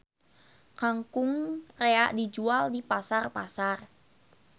Kangkung rea dijual di pasar-pasar.